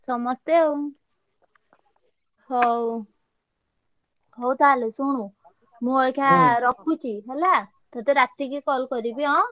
ସମସ୍ତେ ଆଉ ହଉ ହଉ ତାହେଲେ ଶୁଣୁ ମୁଁ ଅଇଖା ରଖୁଛି ହେଲା ତତେ ରାତିକି call କରିବି ଏଁ?